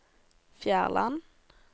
Fjærland